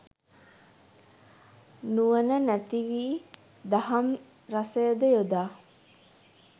නුවන නැති වී දහම් රසයද යොදා